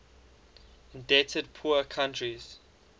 indebted poor countries